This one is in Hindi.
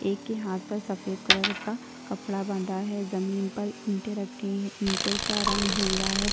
एक के हाथ पर सफेद कलर का कपड़ा बंधा है जमीन पर ईंटे रखी है ईंटों का रंग भूरा है।